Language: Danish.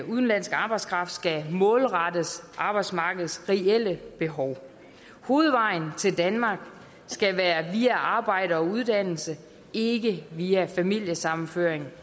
udenlandsk arbejdskraft skal målrettes arbejdsmarkedets reelle behov hovedvejen til danmark skal være via arbejde og uddannelse ikke via familiesammenføring